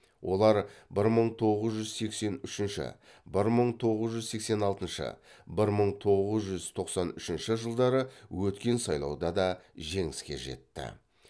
олар бір мың тоғыз жүз сексен үшінші бір мың тоғыз жүз сексен алтыншы бір мың тоғыз жүз тоқсан үшінші жылдары өткен сайлауда да жеңіске жетті